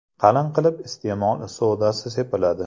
Qalin qilib iste’mol sodasi sepiladi.